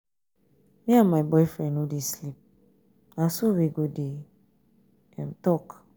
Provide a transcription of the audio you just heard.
me and my boyfriend no dey sleep. na so we go dey talk.